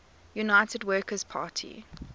united workers party